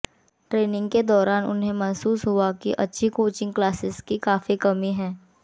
training के दौरान उन्हें महसूस हुआ कि अच्छी कोचिंग क्लासेज की काफी कमी है